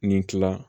Ni kila